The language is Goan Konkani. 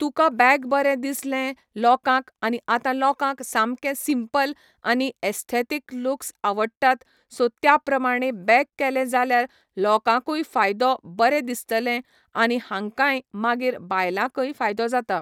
तुका बॅग बरें दिसलें लोकांक आनी आतां लोकांक सामकें सिम्पल आनी एस्थेथीक लुक्स आवडटात सो त्या प्रमाणे बॅग केलें जाल्यार लोकांकूय फायदो बरें दिसतलें आनी हांकांय मागीर बायलांकय फायदो जाता.